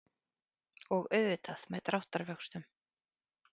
Og auðvitað með dráttarvöxtum.